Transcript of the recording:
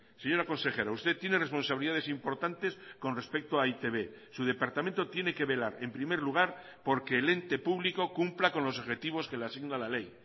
señora consejera usted tiene responsabilidades importantes con respecto a e i te be su departamento tiene que velar en primer lugar porque el ente público cumpla con los objetivos que le asigna la ley